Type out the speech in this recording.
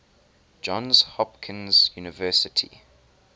johns hopkins university